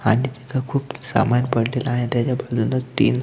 आणि तिथ खूप सामान पडलेल आहे त्याच्या बाजूला तीन--